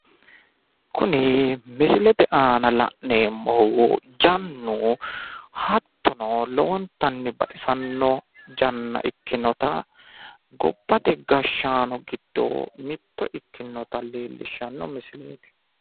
kuni misilete aana la'neemmohu jannu, hattono lowontanni baxisanno janna ikkinota gobbate gashshaano giddo mitto ikinota leelishanno misileeti.